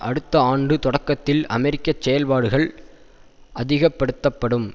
அடுத்த ஆண்டு தொடக்கத்தில் அமெரிக்க செயற்பாடுகள் அதிகப்படுத்தப்படும்